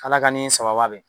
K'Ala ka nii sababa bɛn